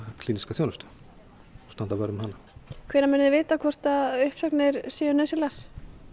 klíníska þjónustu og standa vörð um hana hvenær munið þið vita hvort að uppsagnir séu nauðsynlegar